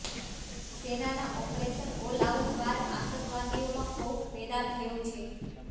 સેનાના operation all out બાદ આતંકવાદીઓમાં ખૌફ પેદા થયો છે